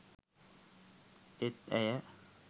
ඒත් ඇය